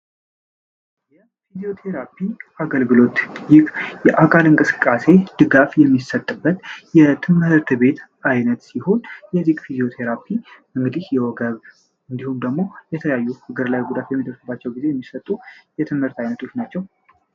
የ ፊዚዮ ተራፒ አገልግሎት ይህ የ አቃቂ እቅስቃሴ ድጋፍ የሚሰጥበት የ ትምርት ቤት አይነት ሲሆን የ ፊዚኦ ቴራፒ አግዲህ የ ወገብ እዲሁም ደግሞ የተለያዩ አግር ላይ ጉዳት በሚደርስባቸው ጊዜ የሚሰጡ የ ትምርት አይነትች ናቸው ።